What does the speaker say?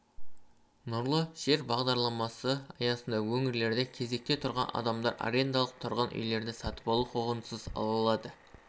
нұрлы жер бағдарламасы аясында өңірлерде кезекте тұрған адамдар арендалық тұрғын үйлерді сатып алу құқығынсыз ала алады